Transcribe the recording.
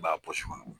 I b'a kɔnɔ